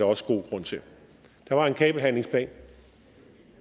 også god grund til der var en kabelhandlingsplan